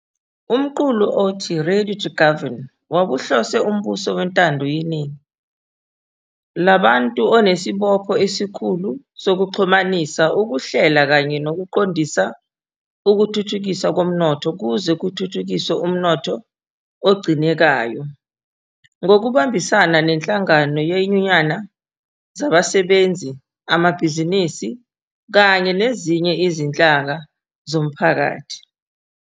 Umqulu othi 'Ready to Govern' wawuhlose umbuso wentando yeningi labantu onesibopho esikhulu 'sokuxhumanisa, ukuhlela kanye nokuqondisa ukuthuthukiswa komnotho ukuze kuthuthukiswe umnotho ogcinekayo' ngokubambisana nenhlangano yenyunyana zabasebenzi, amabhizinisi kanye nezinye izinhlaka zomphakathi.